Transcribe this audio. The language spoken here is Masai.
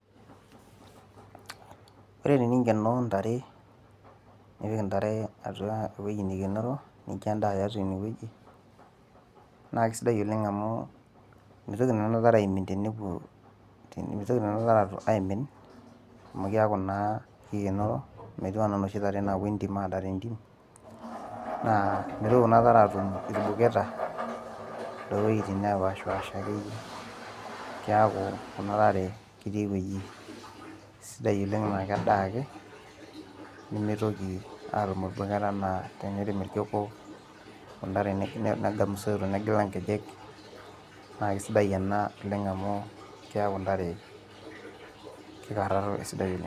ore teninkenoo ntare, nipik ewueji neikenoro, nincho edaa teine wueji, naa kisidai oleng amu meitoki nena tare aimin tenepuo, mitoki nena tare aapuo aimin, amu keeku naa kikenoro, metiu anaa inoshi tare naapuo entim aanang' entim, naa mitoki kuna tare aatum irbuketa, too wuejitin nepashipaasha akeyie. keku kuna tare ketii ewueji sidai oleng, neeku kedaa ake nemeitoki atum irbuketa, tenereem obo, negam isoito negila ingejek naa kisidai ena oleng amu keeku ntare kikararo te sidai oleng.